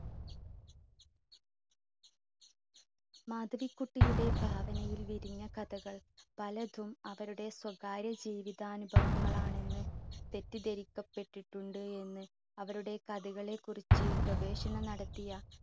മാധവിക്കുട്ടിയുടെ ഭാവനയിൽ വിരിഞ്ഞ കഥകൾ പലതും അവരുടെ സ്വകാര്യ ജീവിതാനുഭവങ്ങളാണെന്ന് തെറ്റിദ്ധരിക്കപ്പെട്ടിട്ടുണ്ട് എന്ന് അവരുടെ കഥകളെ കുറിച്ച് ഗവേഷണം നടത്തിയ